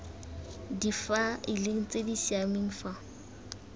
difaeleng tse di siameng fa